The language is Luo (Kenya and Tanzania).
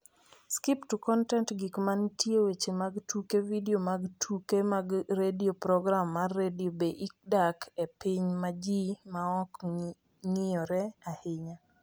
Skip to content Gik ma nitie Weche mag tuke Vidio mag tuke mag redio Program mag redio Be idak e piny ma ji ma ok ng’iyore ahinya?